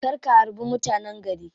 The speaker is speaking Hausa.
Kar ka harbi mutanen gari.